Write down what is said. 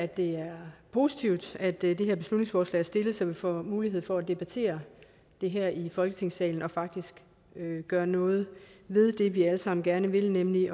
det er positivt at dette beslutningsforslag er stillet så vi får mulighed for at debattere det her i folketingssalen og faktisk gøre noget ved det vi alle sammen gerne vil nemlig